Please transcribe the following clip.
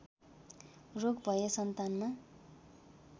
रोग भए सन्तानमा